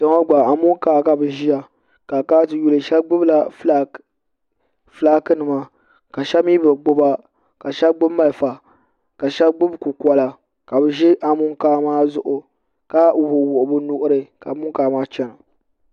kpɛ ŋo gba amokaa ka bi ʒiya shab gbubila fulaaki nima ka shab mii bi gbuba ka shab gbubi malifa ka shab gbubi kukola ka bi ʒi amokaa maa zuɣu ka wuɣi wuɣi bi nuɣuri ka amokaa maa chɛna